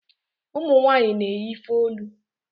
ụmụnwanyị na-eyi ifeolu